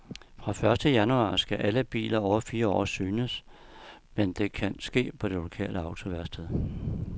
Fra første januar skal alle biler over fire år synes, men det kan ske på det lokale autoværksted.